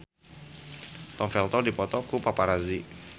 Tom Felton dipoto ku paparazi